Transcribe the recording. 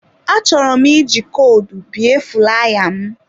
Achọrọ m iji kodu bie fulaya m.